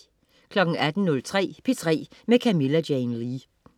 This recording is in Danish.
18.03 P3 med Camilla Jane Lea